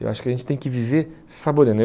Eu acho que a gente tem que viver saboreando.